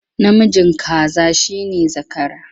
Namijin kaza shi ne zakara.